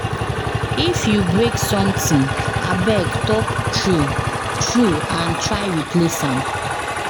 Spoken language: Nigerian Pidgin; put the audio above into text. If you break something, abeg talk true true and try replace am.